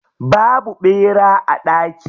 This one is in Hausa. Babu ɓera a daki.